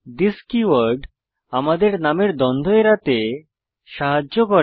this keyword আমাদের নামের দ্বন্দ্ব এড়াতে সাহায্য করে